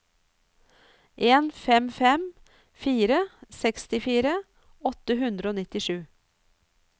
en fem fem fire sekstifire åtte hundre og nittisju